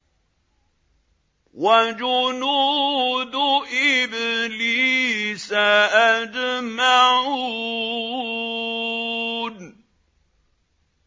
وَجُنُودُ إِبْلِيسَ أَجْمَعُونَ